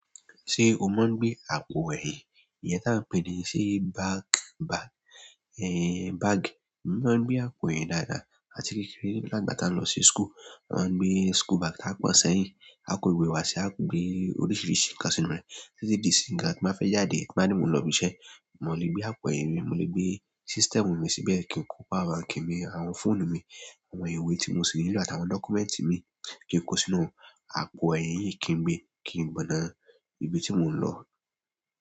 Ṣé o ma ń gbé àpò ẹ̀yìn, ìyẹn tí à ń pè ní ṣé back bag, bag? Mo máa ń gbé àpò ẹ̀yìn dáadáa àti kékeré nígbà, ìgbà ta ń lọ sí school. A máa ń gbé school bag ta á pọ̀n sẹ́yìn. Aá kòó ìwé wa sí i, aá gbèé oríṣiríṣi nǹkan sínú ẹ̀. Títí di ìsìnyí gan, tí n bá fẹ́ jáde, tí nbá ní mò ń lọ ibi iṣẹ́, mo le gbé àpò ẹ̀yìn mi, mo le gbé system mi síbẹ̀, kí n kó power bank mi, àwọn fóònù mi, àwọn ìwé tí mo sì ń lò àti àwọn dọ́kúmẹ́ǹtì míì ki n ko sínú àpò ẹ̀yìn yìí kí n gbe kí n gbọ̀nà ibi tí mò ń lọ.